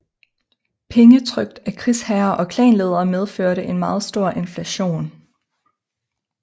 Penge trykt af krigsherrer og klanledere medførte en meget stor inflation